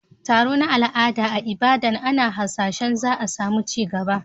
Taro na al'ada a Ibadan ana hasashen za a samu ci gaba